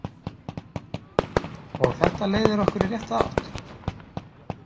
Og þetta leiðir okkur í rétta átt?